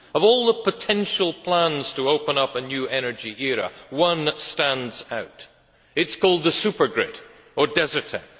Of all the potential plans to open up a new energy era, one stands out it is called the supergrid, or DESERTEC.